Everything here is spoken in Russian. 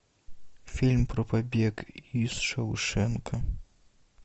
фильм про побег из шоушенка